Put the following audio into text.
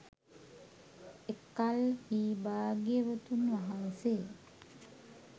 එකල්හී භාග්‍යවතුන් වහන්සේ